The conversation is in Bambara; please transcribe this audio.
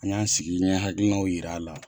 An y'an sigi n ɲɛ hakilinanw yir'a la.